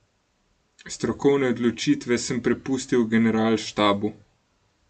Strokovne odločitve sem prepustil generalštabu.